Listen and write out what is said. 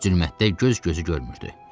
Zülmətdə göz gözü görmürdü.